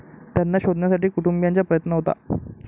त्यांना शोधण्यासाठी कुटुंबियांचा प्रयत्न होता.